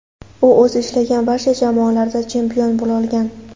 U o‘zi ishlagan barcha jamoalarda chempion bo‘lolgan.